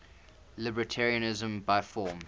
libertarianism by form